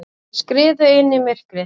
Þær skriðu inn í myrkrið.